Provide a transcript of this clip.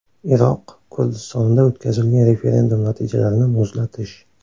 Iroq Kurdistonida o‘tkazilgan referendum natijalarini muzlatish.